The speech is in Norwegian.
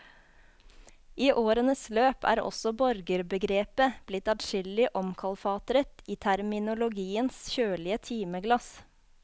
I årenes løp er også borgerbegrepet blitt adskillig omkalfatret i terminologiens kjølige timeglass.